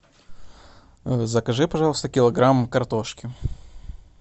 закажи пожалуйста килограмм картошки